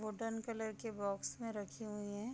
Wooden colour के box में रखी हुए है।